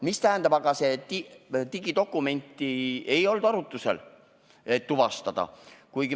Mis puudutab aga digidokumenti, siis see ei olnud tuvastusvahendina arutlusel.